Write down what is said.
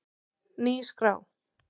Ný skrá